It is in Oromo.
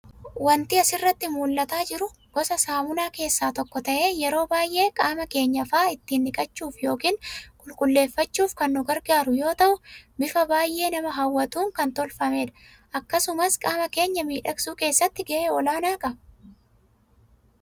Waanti asiratti mul'ataa jiru, gosa saamunaa keessaa tokko ta'ee, yeroo baayyee qaama keenya fa'aa ittiin dhiqachuuf yookaan qulqulleeffachuuf kan nu gargaaru yoo ta'u, bifa baayyee nama hawwatuun kan tolfamedha. Akkasumas qaama keenya miidhagsuu keessatti ga'ee olaanaa qaba.